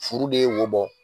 Furu de ye wo bɔ!